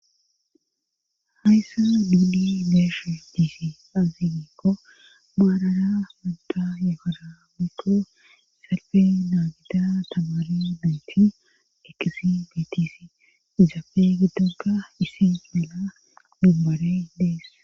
hayssa didi gesha diisi azigiikko baarara munta yekosa bikko salfe naagida tagali bitin eqqisi bitis izaafe gidonga isi mila dubbare dees